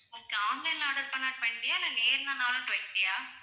okay online ல order பண்ணா twenty ஆ இல்ல நேரிலனாலும் twenty ஆ